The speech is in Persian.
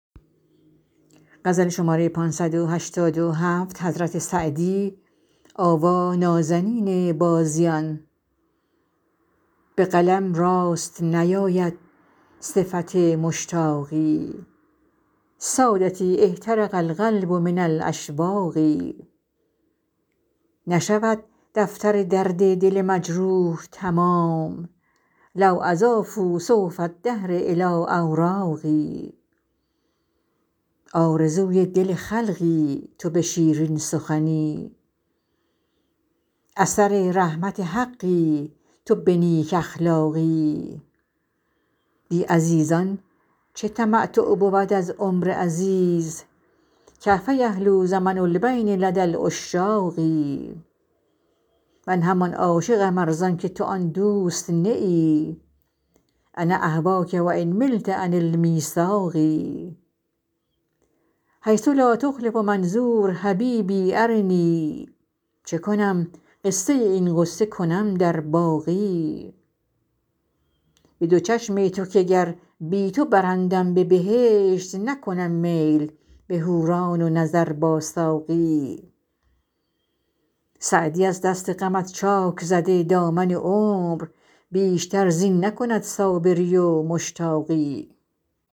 به قلم راست نیاید صفت مشتاقی سادتی احترق القلب من الاشواق نشود دفتر درد دل مجروح تمام لو اضافوا صحف الدهر الی اوراقی آرزوی دل خلقی تو به شیرین سخنی اثر رحمت حقی تو به نیک اخلاقی بی عزیزان چه تمتع بود از عمر عزیز کیف یحلو زمن البین لدی العشاق من همان عاشقم ار زان که تو آن دوست نه ای انا اهواک و ان ملت عن المیثاق حیث لا تخلف منظور حبیبی ارنی چه کنم قصه این غصه کنم در باقی به دو چشم تو که گر بی تو برندم به بهشت نکنم میل به حوران و نظر با ساقی سعدی از دست غمت چاک زده دامن عمر بیشتر زین نکند صابری و مشتاقی